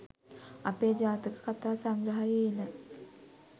අපේ ජාතකකථා සංග්‍රහයේ එන